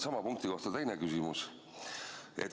Sama punkti kohta teine küsimus.